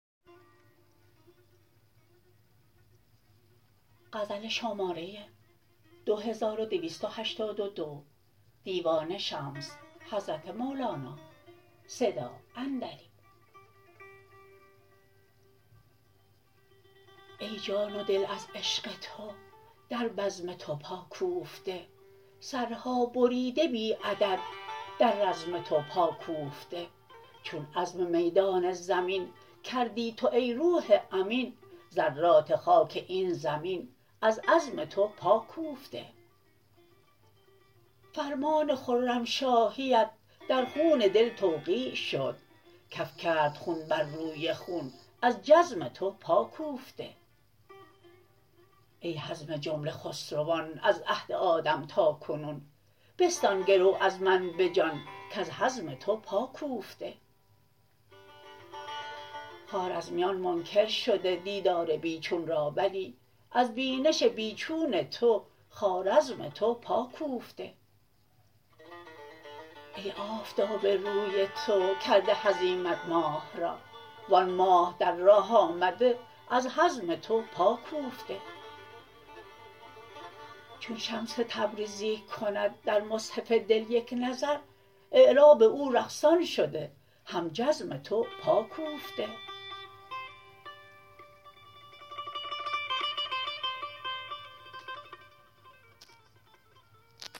ای جان و دل از عشق تو در بزم تو پا کوفته سرها بریده بی عدد در رزم تو پا کوفته چون عزم میدان زمین کردی تو ای روح امین ذرات خاک این زمین از عزم تو پا کوفته فرمان خرمشاهیت در خون دل توقیع شد کف کرد خون بر روی خون از جزم تو پا کوفته ای حزم جمله خسروان از عهد آدم تا کنون بستان گرو از من به جان کز حزم تو پا کوفته خوارزمیان منکر شده دیدار بی چون را ولی از بینش بی چون تو خوارزم تو پا کوفته ای آفتاب روی تو کرده هزیمت ماه را و آن ماه در راه آمده از هزم تو پا کوفته چون شمس تبریزی کند در مصحف دل یک نظر اعراب او رقصان شده هم جزم تو پا کوفته